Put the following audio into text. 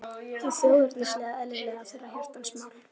Hið þjóðernislega var eðlilega þeirra hjartans mál.